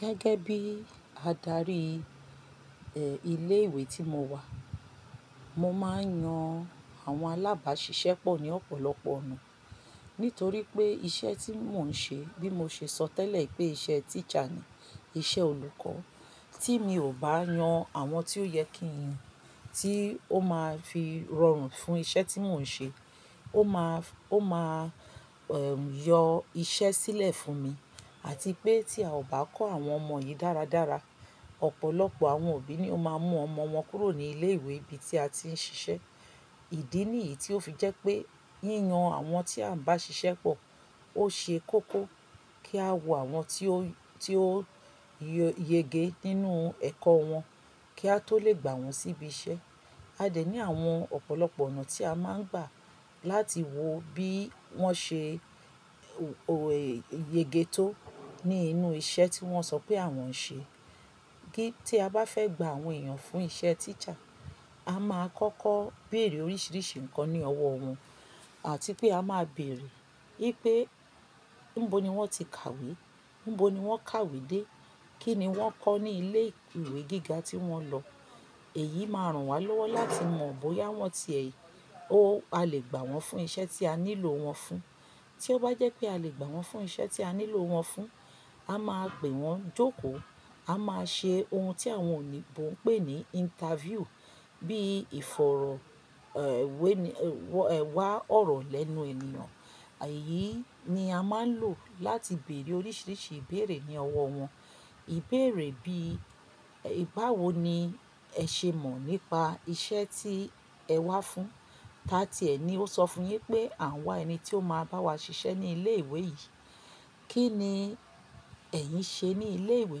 Gẹ́gẹ́ bí adarí, ẹ, ilé ìwé tí mo wà. Mo máa ń yan àwọn alábàásisẹ́ pọ̀ ní ọ̀pọ̀lọpọ̀ ọ̀nà. Nítorí pé ìṣe tí mò ń ṣe bí mo ṣe sọ tẹ́lẹ̀ pé iṣẹ́ teacher ni, iṣẹ́ olùkọ́. Tí mi ò bá yan àwọn tí ó yẹ kí n yan, tí ó máa fi rọrùn fún iṣẹ́ tí mò ń ṣe, ó máa f-- ó máa, ẹ̀, yọ iṣẹ́ sílẹ̀ fún mi. Àti pé tí a ò bá kọ́ àwọn ọmọ yìí dáradára, ọ̀pọ̀lọpọ̀ àwọn òbí ni ó máa mú ọmọ wọn kúrò ní ilé ìwé ibi tí a ti ń ṣiṣẹ́. Ìdí nìyí tí ó fi jẹ́ pé yíyan àwọn tí à ń bá ṣiṣẹ́ pọ̀ ó ṣe kókó kí a wọ àwọn tí ó, tí ó yege nínú ẹ̀kọ́ wọn kí a tó lè gbà wọ́n síbi iṣẹ́. A dè ní àwọn ọ̀pọ̀lọpọ̀ ọ̀nà tí a máa ń gbà láti wo bí wọ́n ṣe o-- è--yége tó ní inú iṣẹ́ tí wọ́n sọ pé àwọn ń ṣe. Kí tí a bá fẹ́ gbà àwọn èèyàn fún iṣẹ́ teacher, a máa kọ́kọ́ bèèrè oríṣiríṣi nǹkan ní ọwọ́ wọn. Àti pé a máa bèèrè wipé níbo ni wọ́n ti kàwé, níbo ni wọ́n kàwé dé, kí ni wọ́n kọ́ ní ilé ìwé gíga tí wọ́n lọ. Èyí máa ràn wá lọ́wọ́ láti mọ̀ bóyá wọ́n ti ẹ̀, ó, a lè gbà wọ́n fún iṣẹ́ tí a nílò wọ́n fún. Tí ó bá jẹ́ pé a lè gbà wọ́n fún iṣẹ́ tí a nílò wọ́n fún, a máa pè wọ́n jókòó. A máa ṣe ohun tí àwọn òyìnbó ń pè ní interview. Bí ìfọ̀rọ̀, ẹ̀, wẹ́ni-- wọ, ẹ̀, wá ọ̀rọ̀ lẹ́nu ènìyàn. Èyí ni a máa ń lò láti bèèrè oríṣiríṣi ìbéèrè ní ọwọ́ wọn. Ìbéèrè bí, "báwo ni ẹ ṣe mọ̀ nípa iṣẹ́ tí ẹ wá fún?" Tá tí ẹ ni ó sọ fún yín pé àwọn wá ẹni tí ó máa bá wa ṣiṣẹ́ ní ilé ìwé yìí. Kí ni ẹ̀yin ṣe ní ilé ìwé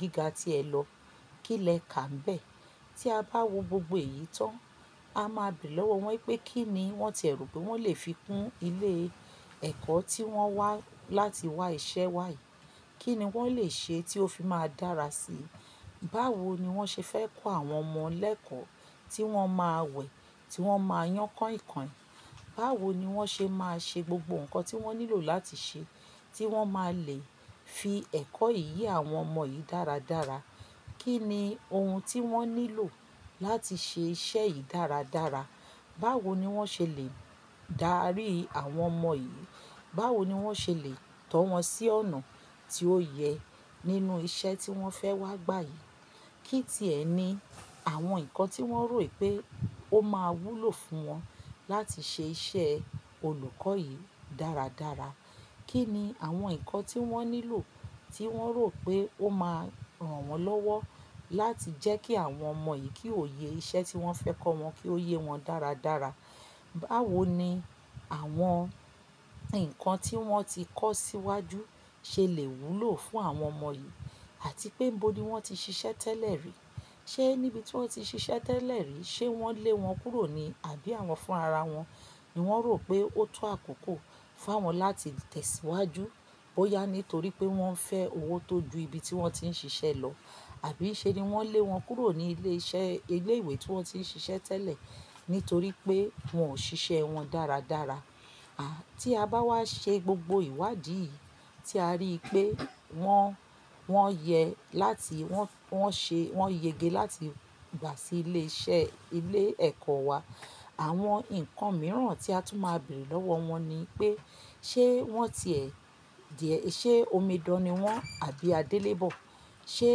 gíga tí ẹ lọ? Kí lẹ kà ńbẹ̀? Tí a bá wo gbogbo èyí tán, a máa bere lọ́wọ́ wọ́n pé kí ni wọ́n tie rò pé wọ́n lè fi kún ilé ẹ̀kọ́ tí wọ́n wá láti wá iṣẹ́ wá yìí. Kí ni wọ́n lè ṣe tí ó fi máa dára sí i? Báwo ni wọ́n ṣe fẹ́ kọ́ àwọn ọmọ lẹ́kọ̀ọ́ tí wọ́n máa wẹ̀, tí wọ́n máa yán kainkain? Báwo ni wọ́n ṣe máa ṣe gbogbo nǹkan tí wọ́n nílò láti ṣe tí wọ́n máa lè fi ẹ̀kọ́ yìí ye àwọn ọmọ yìí dáradára? Kí ni ohun tí wọ́n nílò láti ṣe iṣẹ́ yìí dáradára? Báwo ni wọ́n ṣe lè dárí àwọn ọmọ yìí? Báwo ni wọ́n ṣe lè tọ́ wọn sí ọ̀nà tí ó yẹ nínú iṣẹ́ tí wọ́n fẹ́ wá gbà yìí? Kí ti ẹ ni àwọn nǹkan tí wọ́n rò wipé ó máa wúlò fún wọn láti ṣe iṣẹ́ olùkọ́ yìí dáradára? Kí ni àwọn nǹkan tí wọ́n nílò tí wọ́n rò pé ó máa ràn wọ́n lọ́wọ́ láti jẹ́ kí àwọn ọmọ yìí kí ó yẹ iṣẹ́ tí wọ́n fẹ́ kọ́ wọn kí ó yé wọn dáradára? Báwo ni àwọn nǹkan tí wọ́n ti kọ́ síwájú ṣe lè wúlò fún àwọn ọmọ yìí? Àti pé níbo ni wọ́n ti ṣiṣẹ́ tẹ́lẹ̀ rí. Ṣé níbi tí wọ́n ti ṣiṣẹ́ tẹ́lẹ̀ rí ṣe wọ́n lé wọn kúrò ni? Àbí àwọn fún ara wọn ni wọ́n rò pé ó tó àkókò fún awọn láti tẹ̀síwájú. Bóyá nítorí pé wọ́n fẹ́ owó tó ju ibi tí wọ́n ti ń ṣiṣẹ́ lọ àbí ṣe ni wọ́n lé wọn kúrò ní ilé iṣẹ́ ilé ìwé tí wọ́n ti ń ṣiṣẹ́ tẹ́lẹ̀ nítorí pé wọ́n ò ṣiṣẹ́ wọn dáradára. A, tí a bá wá ṣe gbogbo ìwádìí yìí tí a rí pé wọ́n, wọ́n yẹ láti wọ́n, wọ́n ṣe, wọ́n yege láti gbà sí ilé iṣẹ́ ilé ẹ̀kọ́ wa. Àwọn nǹkan mìíràn tí a tún máa bèèrè lọ́wọ́ wọ́n ni pé, ṣe wọ́n ti ẹ̀, diẹ̀, ṣe omidan ni wọ́n àbí adélébọ̀? Ṣé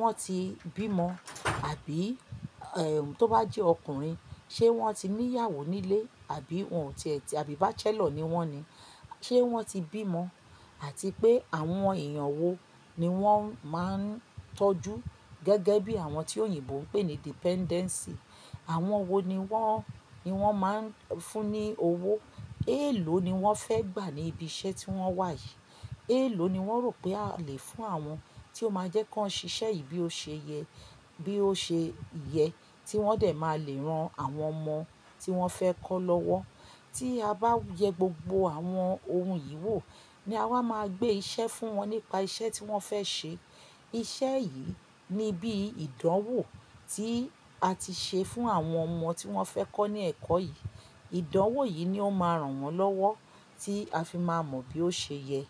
wọ́n ti bímọ? Àbí, ẹ̀, tó bá jẹ́ ọkùnrin, ṣe wọ́n ti ní ìyàwó nílé àbí wọn ò tí ẹ̀ ti àbí bachelor ni wọ́n ni? Ṣé wọ́n ti bímọ àti pé àwọn èèyàn wo ni wọ́n máa ń tọ́jú gẹ́gẹ́ bí àwọn tí òyìnbó ń pè ní dependency. Àwọn wo ni wọ́n, ni wọ́n máa ń fún ní owó? Èèló ni wọ́n fẹ́ gbà ní ibi iṣẹ́ tí wọ́n wà yìí? Èèló ni wọ́n rò pé a lè fún àwọn tí ó máa jẹ́ kan ṣiṣẹ́ yìí bí ó ṣe yẹ, bí ó ṣe yẹ tí wọ́n dẹ̀ máa lè ran àwọn ọmọ tí wọ́n fẹ́ kọ́ lọ́wọ́? Tí a bá yẹ gbogbo àwọn ohun yìí wò ni a máa gbé iṣẹ́ fún wọn nípa iṣẹ́ tí wọ́n fẹ́ ṣe. Iṣẹ́ yìí ni bí ìdánwò tí a ti ṣe fún àwọn ọmọ tí wọ́n fẹ́ kọ́ ní ẹ̀kọ́ yìí. Ìdánwò yìí ni ó máa ràn wọ́n lọ́wọ́ tí a fi máa mọ bí ó ṣe yẹ.